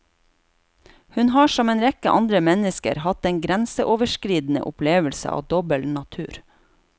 Hun har som en rekke andre mennesker hatt en grenseoverskridende opplevelse av dobbelt natur.